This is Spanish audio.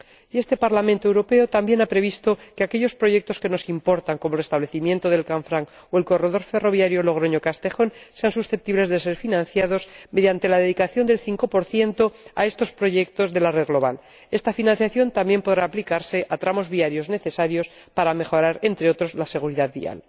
Y este Parlamento Europeo también ha previsto que aquellos proyectos que nos importan, como el restablecimiento del Canfranc o el corredor ferroviario Logroño Castejón, sean susceptibles de ser financiados mediante la dedicación del 5 a estos proyectos de la red global. Esta financiación también podrá aplicarse a tramos viarios necesarios para mejorar, entre otras cosas, la seguridad vial.